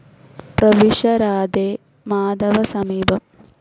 പ്രവിശ രാധേ, മാധവ സമീപം